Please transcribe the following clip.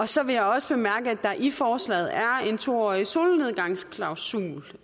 så vil jeg også bemærke at der i forslaget er en to årig solnedgangsklausul